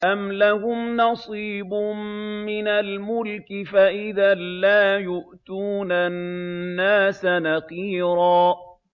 أَمْ لَهُمْ نَصِيبٌ مِّنَ الْمُلْكِ فَإِذًا لَّا يُؤْتُونَ النَّاسَ نَقِيرًا